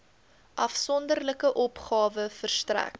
afsonderlike opgawe verstrek